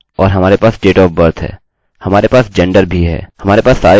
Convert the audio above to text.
हमारे पास सारे डेटा हैं और अब हम कैसे इसका उपयोग करें